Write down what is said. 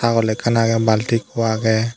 tagol ekkan agey balti ekko agey.